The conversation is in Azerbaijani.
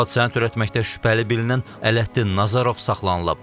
Hadisəni törətməkdə şübhəli bilinən Ələddin Nəzərov saxlanılıb.